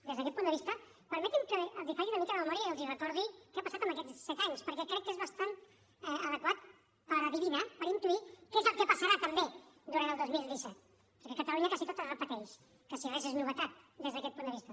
des d’aquest punt de vista permeti’m que els faci una mica de memòria i els recordi què ha passat en aquests set anys perquè crec que és bastant adequat per endevinar per intuir què és el que passarà també durant el dos mil disset perquè a catalunya gairebé tot es repeteix gairebé res és novetat des d’aquest punt de vista